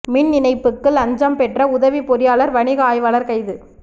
மின் இணைப்புக்கு லஞ்சம் பெற்ற உதவி பொறியாளர் வணிக ஆய்வாளர் கைது